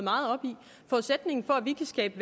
skabe